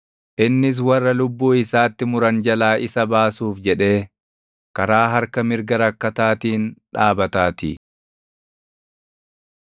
Innis warra lubbuu isaatti muran jalaa isa baasuuf jedhee, karaa harka mirga rakkataatiin dhaabataatii.